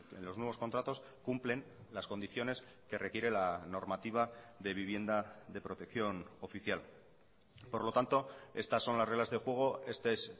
en los nuevos contratos cumplen las condiciones que requiere la normativa de vivienda de protección oficial por lo tanto estas son las reglas de juego este es